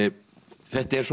þetta er